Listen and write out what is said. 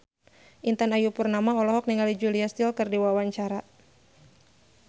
Intan Ayu Purnama olohok ningali Julia Stiles keur diwawancara